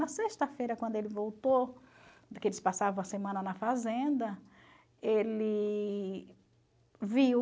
Na sexta-feira, quando ele voltou, porque eles passavam a semana na fazenda, ele viu...